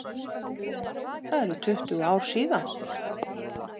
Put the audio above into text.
Það eru tuttugu ár síðan.